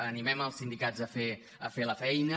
animem els sindicats a fer la feina